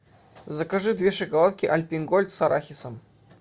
закажи две шоколадки альпен гольд с арахисом